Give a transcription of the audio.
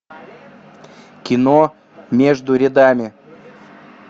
кино между рядами